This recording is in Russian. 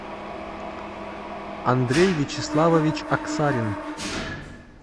андрей вячеславович аксарин